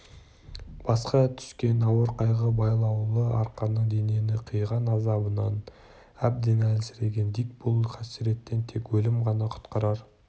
басқа түскен ауыр қайғы байлаулы арқанның денені қиған азабынан әбден әлсіреген дик бұл қасіреттен тек өлім ғана құтқарар